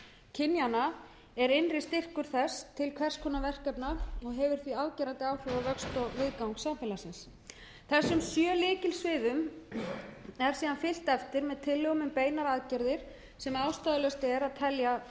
kynjanna er innri styrkur þess til hvers konar verkefna og hefur því afgerandi áhrif á vöxt og viðgang samfélagsins þessum sjö lykilsviðum er síðan fylgt eftir með tillögum um beinar aðgerðir sem ástæðulaust er að telja